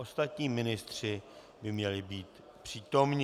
Ostatní ministři by měli být přítomni.